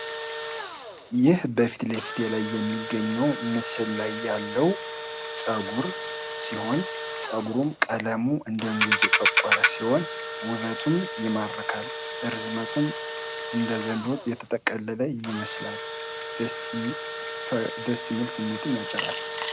ይህ በፊት ለፊቴ ላይ የሚገኘው ምስል ላይ ያለው ፀጉር ሲሆን ፀጉሩም ቀለሙ እንደ ጉንጅ የጠቆረ ሲሆን ውበቱም ይማርካል ርዝመቱም እንደ ዘንዶ የተጠቀለለ ይመስላል ። ደስ የሚል ስሜትም ያጭራል ።